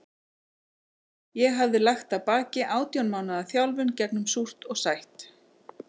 Ég hafði lagt að baki átján mánaða þjálfun gegnum súrt og sætt.